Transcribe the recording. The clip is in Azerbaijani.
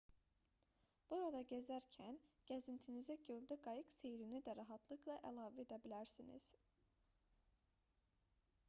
burada gəzərkən gəzintinizə göldə qayıq seyrini də rahatlıqla əlavə edə bilərsiniz